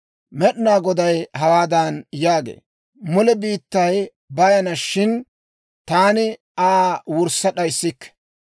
Med'inaa Goday hawaadan yaagee; «Mule biittay bayana; shin taani Aa wurssa d'ayissikke.